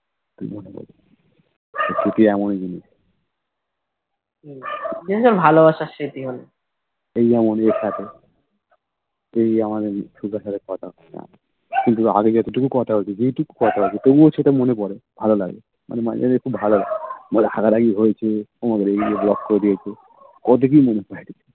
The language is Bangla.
তো এই যে আমাদের সোজা সোজা কথা হলো কিন্তু আগে যত টুকু কথা হয়েছে যেটুকু কথা হতো তবুও সেটা মনে পরে ভালো লাগে মানে মাঝে মাঝে খুব ভালো লাগে মানে রাগারাগি হয়েছে ও আমাকে রেগে গিয়ে Block করে দিয়েছে ও দেখেই মনে পড়তো